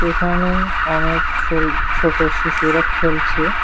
এখানে অনেক ছোল-ছোটো শিশুরা খেলছে।